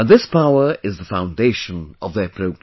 And this power is the foundation of their progress